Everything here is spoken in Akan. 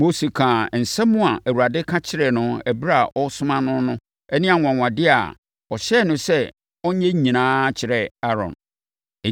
Mose kaa nsɛm a Awurade ka kyerɛɛ no ɛberɛ a ɔresoma no no ne anwanwadeɛ a ɔhyɛɛ no sɛ ɔnyɛ nyinaa kyerɛɛ Aaron.